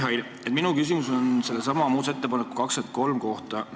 Hea Mihhail, minu küsimus on sellesama muudatusettepaneku nr 23 kohta.